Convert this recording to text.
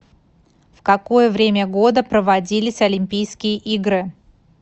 в какое время года проводились олимпийские игры